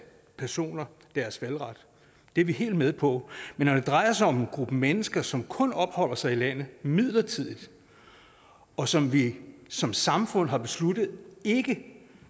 personer deres valgret det er vi helt med på men når det drejer sig om en gruppe mennesker som kun opholder sig i landet midlertidigt og som vi som samfund har besluttet ikke